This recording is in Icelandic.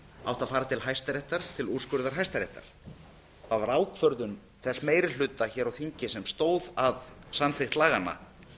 að fara til hæstaréttar til úrskurðar hæstaréttar það var ákvörðun þess meiri hluta hér á þingi sem stóð að samþykkt laganna